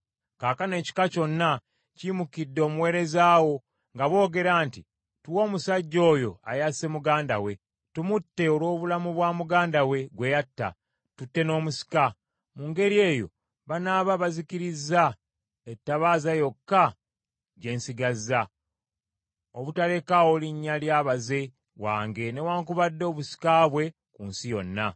Kaakano ekika kyonna kiyimukidde omuweereza wo, nga boogera nti, ‘Tuwe omusajja oyo asse muganda we, tumutte olw’obulamu bwa muganda we gwe yatta, tutte n’omusika.’ Mu ngeri eyo banaaba bazikizza etabaaza yokka gye nsigazza, obutalekaawo linnya lya baze wange newaakubadde obusika bwe ku nsi yonna.”